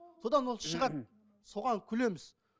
содан ол шығады соған күлеміз